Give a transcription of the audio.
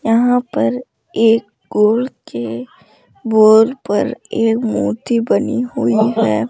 यहां पर एक कुल के बोर पर एक मोती बनी हुई है।